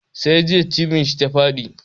Sai jiya cibin shi ta faɗi.